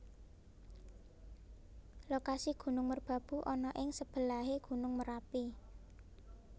Lokasi Gunung Merbabu ana ing sebelahé Gunung Merapi